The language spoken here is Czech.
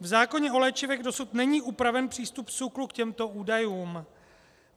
V zákoně o léčivech dosud není upraven přístup SÚKLu k těmto údajům.